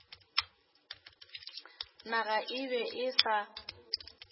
naga e be e sa